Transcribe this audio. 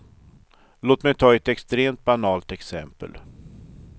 Låt mig ta ett extremt banalt exempel.